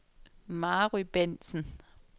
Mary Bentsen